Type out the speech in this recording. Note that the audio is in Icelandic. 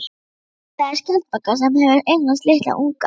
Þar er skjaldbaka sem hefur eignast litla unga.